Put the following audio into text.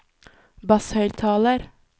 basshøyttaler